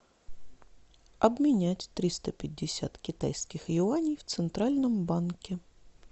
обменять триста пятьдесят китайских юаней в центральном банке